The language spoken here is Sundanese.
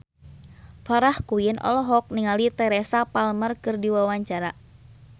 Farah Quinn olohok ningali Teresa Palmer keur diwawancara